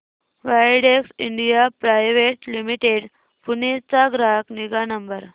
Widex India private limited Pune चा ग्राहक निगा नंबर